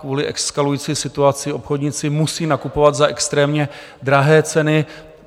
Kvůli eskalující situaci obchodníci musí nakupovat za extrémně drahé ceny.